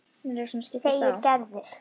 segir Gerður.